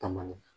Taama